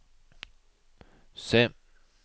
C